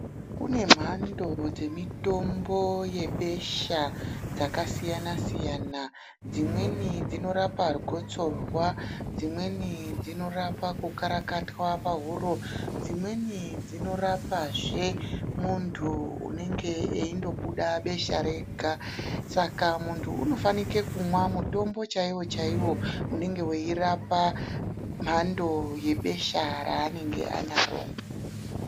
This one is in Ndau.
Kune mhando dzemitombo yebesha dzakasiyana -siyana, dzimweni dzinorapa gotsorwa, dzimweni dzinorapa kukarakatwa pahuro dzimweni dzinorapazve muntu unenge eindobuda besha Rega Saka muntu unofanira kumwa mutombo chaiwo chaiwo unenge weirapa mhando yebesha ranenge anaro.